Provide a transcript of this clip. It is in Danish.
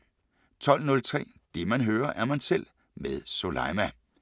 12:03: Det man hører, er man selv med Soleima